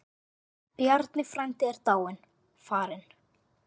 Bjarni frændi er dáinn, farinn.